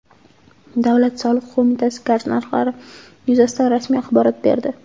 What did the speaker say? Davlat soliq qo‘mitasi gaz narxlari yuzasidan rasmiy axborot berdi.